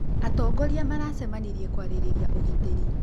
Atongorĩa maracemanĩrĩe kwarĩrĩrĩa ũgĩtĩrĩ